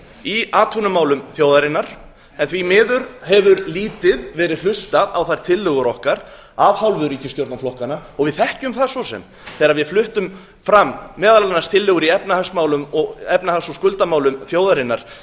í atvinnumálum þjóðarinnar en því miður hefur lítið verið hlustað á þær tillögur okkar af hálfu ríkisstjórnarflokkanna við þekkjum það svo sem þegar við fluttum fram meðal annars tillögur í efnahags og skuldamálum þjóðarinnar